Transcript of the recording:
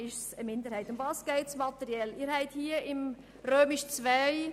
Materiell geht es um Folgendes.